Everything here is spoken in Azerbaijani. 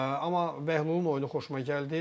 Amma Bəhlulun oyunu xoşuma gəldi.